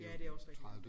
Ja det også rigtigt